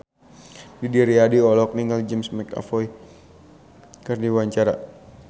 Didi Riyadi olohok ningali James McAvoy keur diwawancara